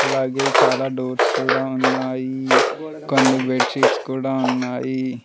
అలాగే చాలా డోర్స్ కూడా ఉన్నాయి కొన్ని బెడ్ షీట్స్ కూడా ఉన్నాయి.